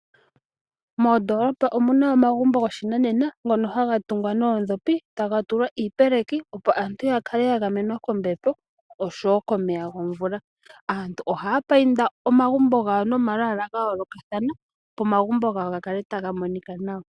Moodolopa omuna omagumbo goshinanena ngono haga tungwa noondhopi taga tulwa iipeleki, opo aantu yakale yagamenwa kombepo oshowo komeya gomvula. Aantu ohaya painda omagumbo gawo nomalwaala ga yoolokathana opo omagumbo gawo gakale taga monika nawa.